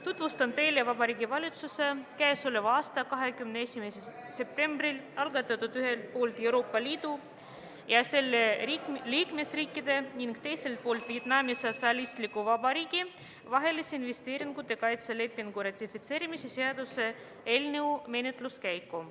Tutvustan teile Vabariigi Valitsuse k.a 21. septembril algatatud ühelt poolt Euroopa Liidu ja selle liikmesriikide ning teiselt poolt Vietnami Sotsialistliku Vabariigi vahelise investeeringute kaitse lepingu ratifitseerimise seaduse eelnõu menetluse käiku.